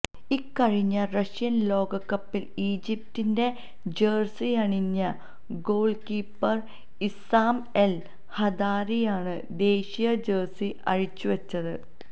ഇക്കഴിഞ്ഞ റഷ്യന് ലോകകപ്പില് ഈജിപ്റ്റിന്റെ ജേഴ്സിയണിഞ്ഞ ഗോള്കീപ്പര് ഇസ്സാം എല് ഹദാരിയാണ് ദേശീയ ജേഴ്സി അഴിച്ചുവച്ചത്